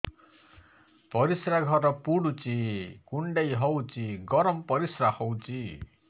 ପରିସ୍ରା ଘର ପୁଡୁଚି କୁଣ୍ଡେଇ ହଉଚି ଗରମ ପରିସ୍ରା ହଉଚି